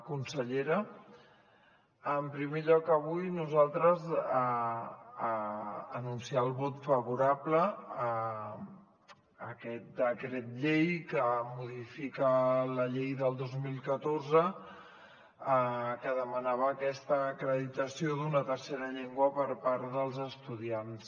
consellera en primer lloc avui nosaltres anunciem el vot favorable a aquest decret llei que modifica la llei del dos mil catorze que demanava aquesta acreditació d’una tercera llengua per part dels estudiants